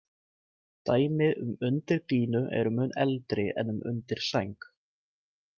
Dæmi um undirdýnu eru mun eldri en um undirsæng.